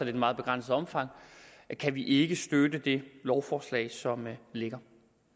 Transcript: et meget begrænset omfang kan vi ikke støtte det lovforslag som ligger